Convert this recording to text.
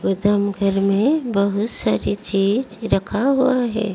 गोदाम घर में बहोत सारी चीज रखा हुआ है।